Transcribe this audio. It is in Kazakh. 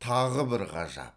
тағы бір ғажап